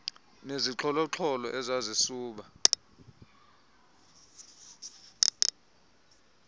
nezixholo xholo ezasuba